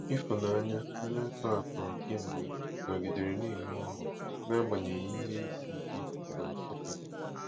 Ifunanya, onye a tọhapụrụ kemgbe, nọgidere na-enwe ọṅụ n'agbanyeghị ihe isi ike na Nsukka.